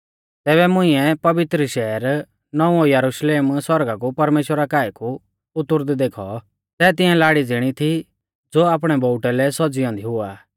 तैबै मुंइऐ पवित्र शैहर नौंवौ यरुशलेम सौरगा कु परमेश्‍वरा काऐ कु उतुरदै देखौ सै तिंया लाड़ी ज़िणी थी ज़ो आपणै बोउटै लै सौज़ी औन्दी हुआ